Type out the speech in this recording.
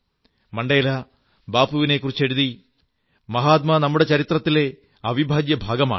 Mandela ബാപ്പുവിനെക്കുറിച്ചെഴുതി മഹാത്മാ നമ്മുടെ ചരിത്രത്തിലെ അവിഭാജ്യഭാഗമാണ്